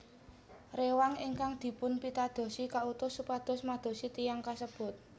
Rewang ingkang dipunpitadosi kautus supados madosi tiyang kasebut